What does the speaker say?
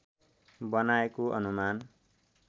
बनाएको अनुमान